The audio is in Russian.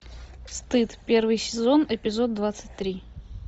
стыд первый сезон эпизод двадцать три